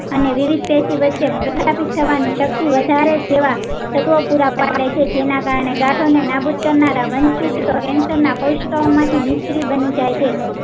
અને વિવિધ વચ્ચે પ્રજાપિત થવાની શક્તિ વધારે જેવા તત્વો પુરા પાડે છે જેના કારણે ગાંઠો ને નાબૂદ કરનારા વંશીત cancer ના કોશિકાઓ માંથી નિષ્ક્રિય બની જાય છે